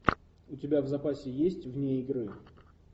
у тебя в запасе есть вне игры